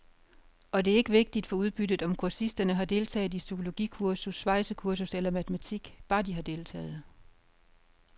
Og det er ikke vigtigt for udbyttet, om kursisterne har deltaget i psykologikursus, svejsekursus eller matematik, bare de har deltaget.